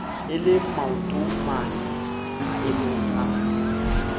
e le maotomane maemomg a